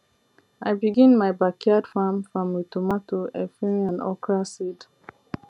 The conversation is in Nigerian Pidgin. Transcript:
i begin my backyard farm farm with tomato efirin and okra seed